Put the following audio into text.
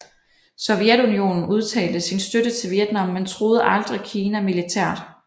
Sovjetunionen udtalte sin støtte til Vietnam men truede aldrig Kina militært